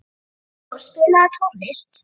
Sigdór, spilaðu tónlist.